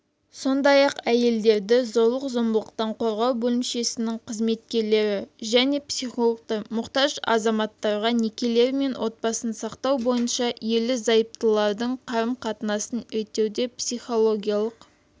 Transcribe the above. сондай-ақ әйелдерді зорлық-зомбылықтан қорғау бөлімшесінің қызметкерлері және психологтар мұқтаж азаматтарға некелері мен отбасын сақтау бойынша ерлі-зайыптылардың қарым-қатынасын реттеуде психологиялық